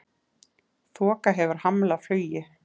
Þoka hefur hamlað flugi